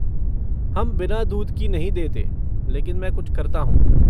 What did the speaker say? हम बिना दूध की नहीं देते लेकिन मैं कुछ करता हूँ।